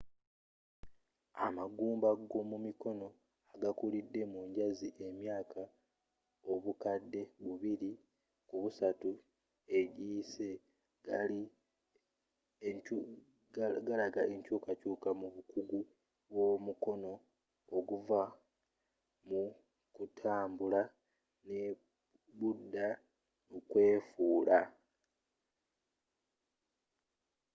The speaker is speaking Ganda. amagumba g'omumikono agakulidde mu njazi emyaaka obukadde bubiri ku busatu egiyise gilaga enkyuukakyuuka mu bukugu bwomukono okuva mukutambula nebudda mukwefuula